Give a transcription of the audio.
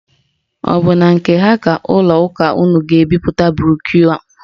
Ọ bụ na nke ha ka ụlọ ụka unu ga-ebipụta broshu?